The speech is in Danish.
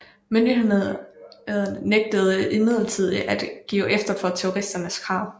Myndighederne nægtede imidlertid at give efter for terroristernes krav